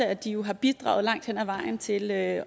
at de jo har bidraget langt hen ad vejen til at